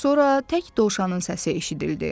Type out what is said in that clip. Sonra tək Dovşanın səsi eşidildi.